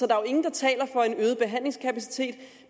er jo ingen der taler for en øget behandlingskapacitet